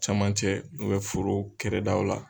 Cɛmancɛ foro kɛrɛdaw la